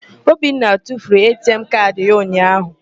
Obinna tufuru ATM kaadị ya unyaahụ.